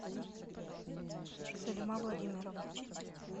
салима владимировна